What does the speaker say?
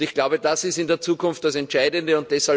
Ich glaube, das ist in der Zukunft das Entscheidende.